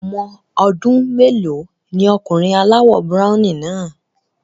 Ọmọ ọdún mélòó ni ọmọkùnrin aláwọ̀ browny náà?